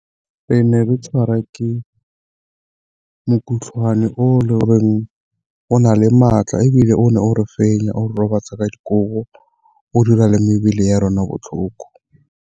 Ke ne ka tshwara ke o e le goreng o na le maatla, ebile o ne o re fenya o re robatsa ka dikobo o dira le mebele ya rona botlhoko.